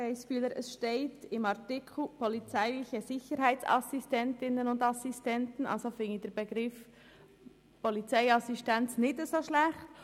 Im Artikel steht «polizeiliche Sicherheitsassistentinnen und Sicherheitsassistenten», weshalb ich den Begriff «Polizeiassistenz» als passend empfinde.